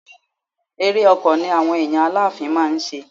Ere ọkọ̀ ni àwọn èèyàn Aláàfin máa ń ṣe.